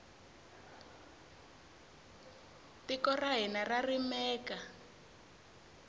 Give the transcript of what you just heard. tiko ra hina ra rimeka